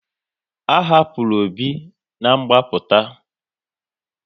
A hapụrụ Obi na ngbaputa